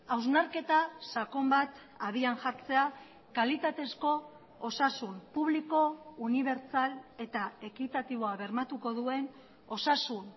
hausnarketa sakon bat abian jartzea kalitatezko osasun publiko unibertsal eta ekitatiboa bermatuko duen osasun